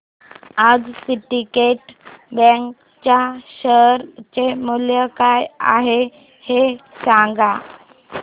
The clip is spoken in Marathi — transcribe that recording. आज सिंडीकेट बँक च्या शेअर चे मूल्य काय आहे हे सांगा